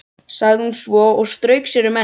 sagði hún svo og strauk sér um ennið.